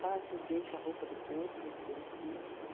cheguei com a roupa do corpo, com a criancinha.